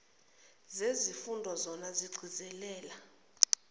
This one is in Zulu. zezifundo zona zigcizelela